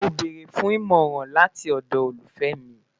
Mo beere fun imọran lati ọdọ olufẹ mi